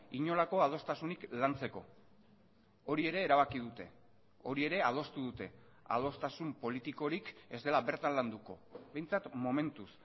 inolako adostasunik lantzeko hori ere erabaki dute hori ere adostu dute adostasun politikorik ez dela bertan landuko behintzat momentuz